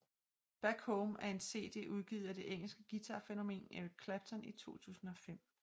Back Home er en CD udgivet af det engelske guitarfænomen Eric Clapton i 2005